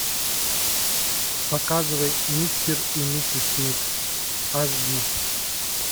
показывай мистер и миссис смит аш ди